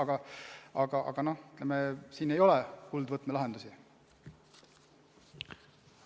Ja paraku, ütleme, kuldvõtmelahendusi siin ei ole.